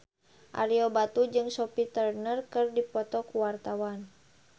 Ario Batu jeung Sophie Turner keur dipoto ku wartawan